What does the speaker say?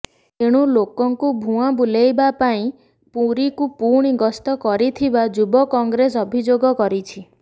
ଏଣୁ ଲୋକ ଙ୍କୁ ଭୁଆଁ ବୁଲାଇବା ପାଇଁ ପୁରୀକୁ ପୁଣି ଗସ୍ତ କରିଥିବା ଯୁବ କଂଗ୍ରେସ ଅଭିଯୋଗ କରିଛି